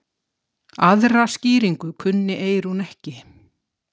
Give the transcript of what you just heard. Aðra skýringu kunni Eyrún ekki.